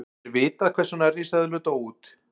er vitað hvers vegna risaeðlur dóu út